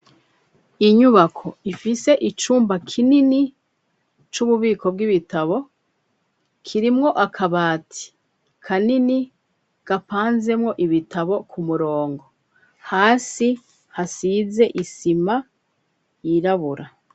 Inyubako ifite icumba kinini c'ububiko bw'ibitabo, kirimwo akabati kanini gapanzemo ibitabo ku murongo, hasi hasize isima yirabura.